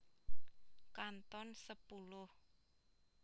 Kanton sepuluh